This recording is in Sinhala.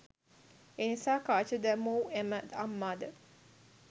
එනිසා කාච දැමූ එම අම්මාද